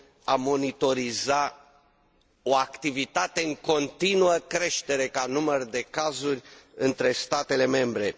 a monitoriza o activitate în continuă creștere ca număr de cazuri între statele membre.